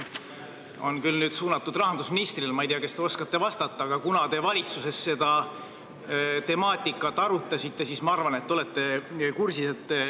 Minu küsimus on suunatud rahandusministrile, ma ei tea, kas te oskate vastata, aga kuna te valitsuses seda temaatikat arutasite, siis ma arvan, et te olete kursis.